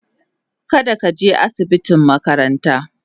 kada ka je asibitin makarantan.